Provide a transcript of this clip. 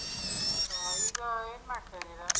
ಆ ಈಗ ಏನ್ ಮಾಡ್ತಾ ಇದ್ದೀರಾ?